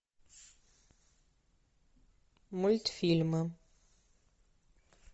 мультфильмы